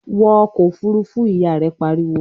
"Wọ ọkọ̀ Òfurufú!", Ìyá rẹ̀ pariwo